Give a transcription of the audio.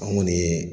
An kɔni ye